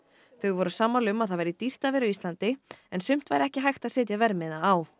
þau voru sammála um að það væri dýrt að vera á Íslandi en sumt væri ekki hægt að setja verðmiða á